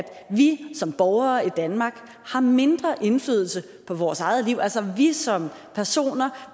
vi som borgere i danmark har mindre indflydelse på vores eget liv altså at vi som personer